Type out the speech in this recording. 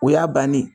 O y'a bannen ye